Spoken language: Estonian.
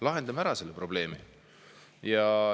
Lahendame ära selle probleemi.